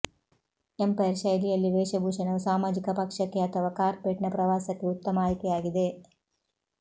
empire ಶೈಲಿಯಲ್ಲಿ ವೇಷಭೂಷಣವು ಸಾಮಾಜಿಕ ಪಕ್ಷಕ್ಕೆ ಅಥವಾ ಕಾರ್ಪೆಟ್ನ ಪ್ರವಾಸಕ್ಕೆ ಉತ್ತಮ ಆಯ್ಕೆಯಾಗಿದೆ